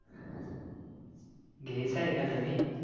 घेयचा आहे का नवीन